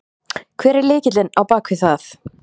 Hver er lykillinn á bakvið það?